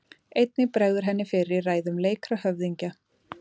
Einnig bregður henni fyrir í ræðum leikra höfðingja.